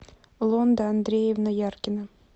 лонда андреевна яркина